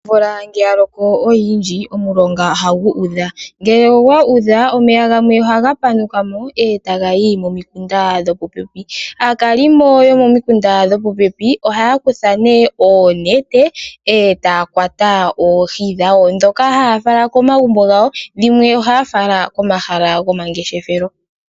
Ovula ngo oya Loko oyindji omulonga ohagu udha ,ngele ogwa udha omeya gamwe ohaga panukamo ta gahi momikunda dhopope .Aakalimo yo pomikunda dhopopepi ohaya kutha onete eta kwata oohi dhawo eta fala komagumbo gawo ,dhimwe oha fala komashala gwo mangeshefelo